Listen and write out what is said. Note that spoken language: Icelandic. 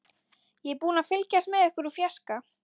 Ég er búin að fylgjast með ykkur úr fjarska.